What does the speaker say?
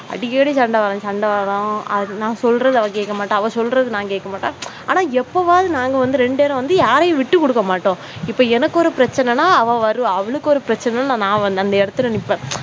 அடிக்கடி சண்டை வரும் சண்டை வரும் நான் சொல்வது அவள் கேட்க மாட்டா அவ சொல்றது நான் கேட்க மாட்டேன். ஆனா, எப்பவாவது நாங்க வந்து ரெண்டு பேரும் வந்து யாரையும் விட்டுக் கொடுக்க மாட்டேன். இப்போ எனக்கு ஒரு பிரச்சனை என்றால் அவள் வருவா அவளுக்கு ஒரு பிரச்சனை நான் வந்து அந்த இடத்தில் நிற்பேன்.